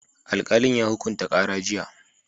Alƙalin ya hukunta ƙara jiya